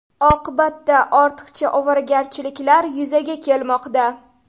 Oqibatda ortiqcha ovoragarchiliklar yuzaga kelmoqda.